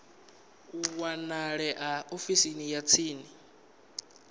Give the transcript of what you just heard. a wanalea ofisini ya tsini